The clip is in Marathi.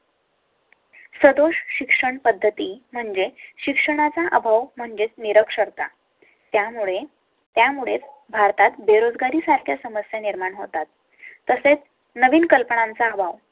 सदोष शिक्षणपद्धती म्हणजे शिक्षणाचा अभाव म्हणजे निरक्षर ता. त्यामुळे त्यामुळे भारतात बेरोजगारी सारख्या समस्या निर्माण होतात तर नवीन कल्पनांचा हवा